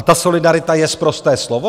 A ta solidarita je sprosté slovo?